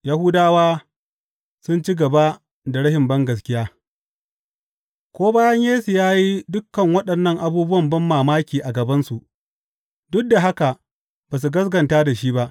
Yahudawa sun ci gaba da rashin bangaskiya Ko bayan Yesu ya yi dukan waɗannan abubuwan banmamaki a gabansu, duk da haka ba su gaskata da shi ba.